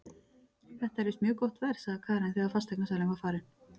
Þetta er víst mjög gott verð, sagði Karen þegar fasteignasalinn var farinn.